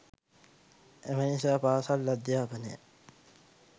එම නිසා පාසල් අධ්‍යාපනය